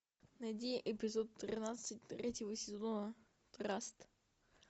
найди эпизод тринадцать третьего сезона траст